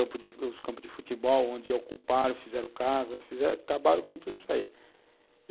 os campos de futebol, onde ocuparam, fizeram casa, fizeram, acabaram com tudo isso aí.